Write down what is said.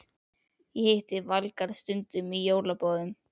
Ég hitti Valgarð stundum í jólaboðum.